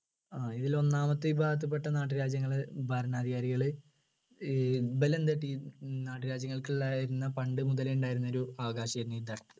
ആ ഇതിലൊന്നാമത്തെ വിഭാഗത്തിൽപ്പെട്ട നാട്ടുരാജ്യങ്ങളിൽ ഭരണാധികാരികൾ ഈ ഇവരെ നാട്ടുരാജ്യങ്ങൾക്കുണ്ടായിരുന്ന പണ്ടുമുതലേ ഉണ്ടായിരുന്ന ഒരു അവകാശിയായിരുന്നു ഈ